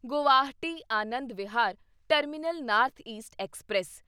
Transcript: Guwahati Anand Vihar terminal north east express